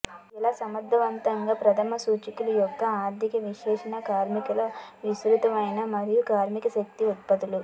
ఎలా సమర్థవంతంగా ప్రధాన సూచికలు యొక్క ఆర్థిక విశ్లేషణ కార్మికులు విస్తృతమైన మరియు కార్మిక శక్తి ఉత్పత్తులు